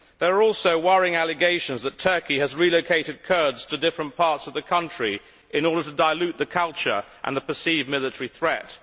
There are also worrying allegations that Turkey has relocated Kurds to different parts of the country in order to dilute the culture and the perceived military threat.